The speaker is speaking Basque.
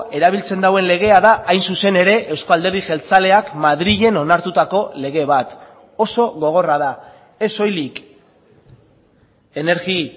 erabiltzen duen legea da hain zuzen ere euzko alderdi jeltzaleak madrilen onartutako lege bat oso gogorra da ez soilik energi